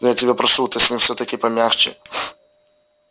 но я тебя прошу ты с ним всё-таки помягче